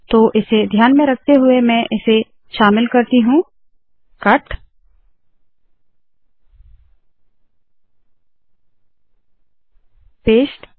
तो इसे ध्यान में रखते हुए मैं इसे शामिल करती हूँ कट पेस्ट